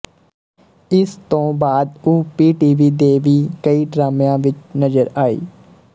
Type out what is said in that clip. ਇਸ ਤੋਂ ਬਾਅਦ ਉਹ ਪੀਟੀਵੀ ਦੇ ਵੀ ਕਈ ਡਰਾਮਿਆਂ ਵਿੱਚ ਨਜ਼ਰ ਆਈ